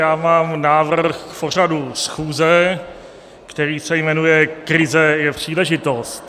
Já mám návrh k pořadu schůze, který se jmenuje Krize je příležitost.